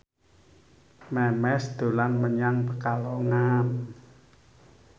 Memes dolan menyang Pekalongan